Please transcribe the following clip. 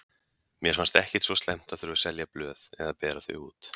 Mér fannst ekkert svo slæmt að þurfa að selja blöð eða bera þau út.